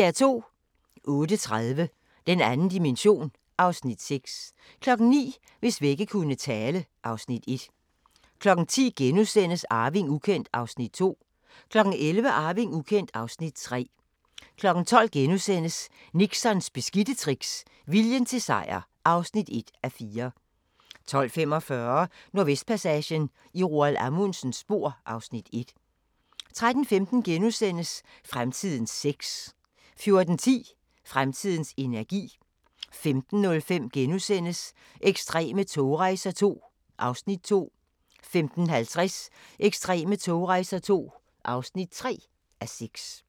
08:30: Den 2. dimension (Afs. 6) 09:00: Hvis vægge kunne tale (Afs. 1) 10:00: Arving ukendt (Afs. 2)* 11:00: Arving ukendt (Afs. 3) 12:00: Nixons beskidte tricks – viljen til sejr (1:4)* 12:45: Nordvestpassagen – i Roald Amundsens spor (Afs. 1) 13:15: Fremtidens sex * 14:10: Fremtidens energi 15:05: Ekstreme togrejser II (2:6)* 15:50: Ekstreme togrejser II (3:6)